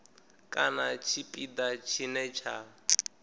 kana kha tshipiḓa tshine tsha